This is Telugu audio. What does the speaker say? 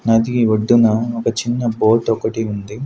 నది ఒడ్డున ఒక చిన్న బోట్ ఒకటి ఉంది.